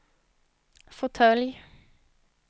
fåtölj